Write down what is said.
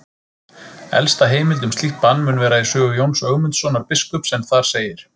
Elsta heimild um slíkt bann mun vera í sögu Jóns Ögmundssonar biskups en þar segir: